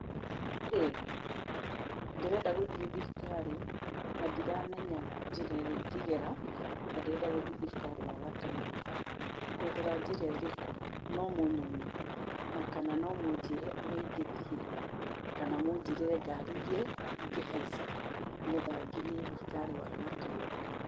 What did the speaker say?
Mũrĩega? Ndĩrenda gũthiĩ thibitarĩ na ndiramenya njĩra ĩrĩa ingegera, na ndĩrenda gũthiĩ thibitarĩ wa Gatũndũ. Ngũgera njĩra ĩrĩkũ? No mũnyonie? Na kana no mũnjĩre ũrĩa ingĩthiĩ, kana mũnjĩrĩre ngari iria ingĩhaica nĩgetha nginye thibitarĩ wa Gatũndũ?